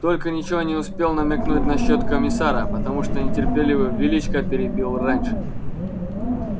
только ничего не успел намекнуть насчёт комиссара потому что нетерпеливый величко перебил раньше